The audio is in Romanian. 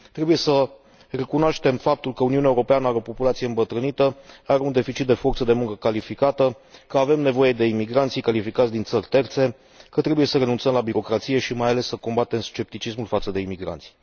Trebuie să recunoaștem faptul că Uniunea Europeană are o populație îmbătrânită, are un deficit de forță de muncă calificată, că avem nevoie de imigranți calificați din țări terțe, că trebuie să renunțăm la birocrație și, mai ales, să combatem scepticismul față de imigranți.